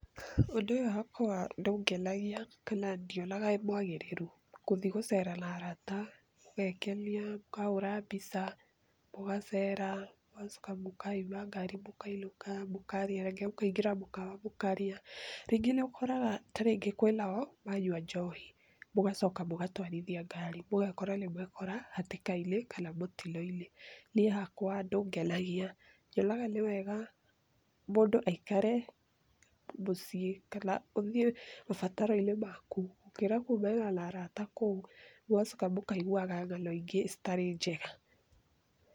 Ũndũ ũyũ hakwa ndũngenagia kana ndionaga wĩ mwagĩrĩru. Gũthi gũceera na arata, mũgeekenia, mũkahũũra mbica, mũgaceera, mũgacoka mũkahaimba ngari mũkainũka, mũkarĩa, rĩngĩ mũkaingĩra mũkawa mũkarĩa, rĩngĩ nĩ ũkoraga ta rĩngĩ kwĩ nao, manyua njohi, ũgacoka mũgatwarithia ngari ũgakora nĩ mwekora hatĩka-inĩ kana mũtino-inĩ. Niĩ hakwa ndũngenagia, nyonaga nĩ wega mũndũ aikare mũciĩ kana ũthiĩ mabataro-inĩ maku gũkĩra kuuma na arata kũu, mũgacoka mũkaiguaga ng'ano ingĩ citarĩ njega.